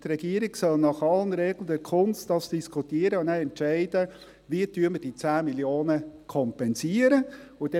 Die Regierung soll dies nach allen Regeln der Kunst diskutieren und nachher entscheiden, wie die 10 Mio. Franken kompensiert werden sollen.